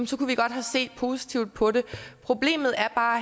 så kunne vi godt have set positivt på det problemet her er bare